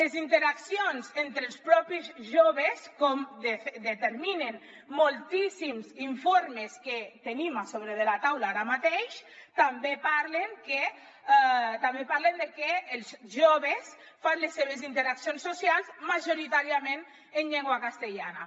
les interaccions entre els propis joves com determinen moltíssims informes que tenim a sobre de la taula ara mateix també parlen de que els joves fan les seves interaccions socials majoritàriament en llengua castellana